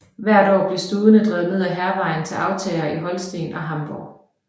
Hvert år blev studene drevet ned ad Hærvejen til aftagere i Holsten og Hamborg